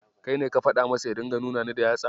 Kai ne ka faɗa masa ya dinga nuna Ni da yatsa?